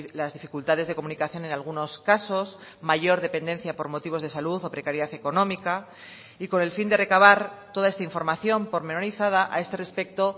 las dificultades de comunicación en algunos casos mayor dependencia por motivos de salud o precariedad económica y con el fin de recabar toda esta información pormenorizada a este respecto